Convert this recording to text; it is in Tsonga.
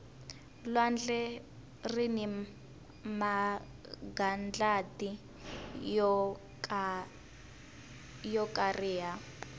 lwandle rini magandlati yo kariha